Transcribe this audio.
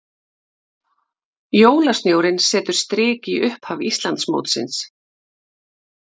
Jólasnjórinn setur strik í upphaf Íslandsmótsins